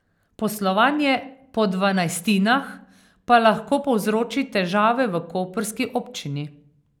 Poslovanje po dvanajstinah pa lahko povzroči težave v koprski občini.